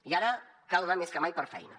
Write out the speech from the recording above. i ara cal anar més que mai per feina